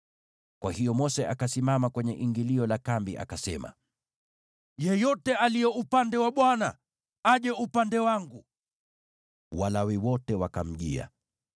Kwa hiyo Mose akasimama kwenye ingilio la kambi, akasema, “Yeyote aliye upande wa Bwana , aje upande wangu.” Walawi wote wakamjia.